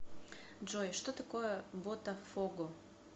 джой что такое ботафого